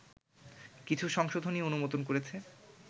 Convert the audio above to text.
কিছু সংশোধনী অনুমোদন করেছে